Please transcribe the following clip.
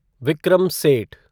Vikram Seth